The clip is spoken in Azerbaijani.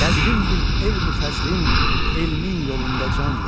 Qədrin bil elmi fəzlin, elmin yolunda can ver.